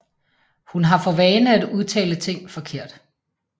Hun har for vane at udtale ting forkert